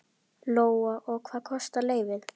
Lóa: Og hvað kostar lyfið?